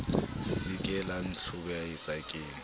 se ke la ntlhobaetsa ke